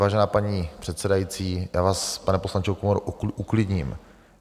Vážená paní předsedající, já vás, pane poslanče Okamuro, uklidním.